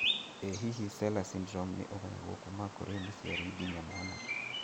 ĩ hihi empty sella syndrome nĩ ugayagwo kuma kũrĩ mũciari nginya mwana?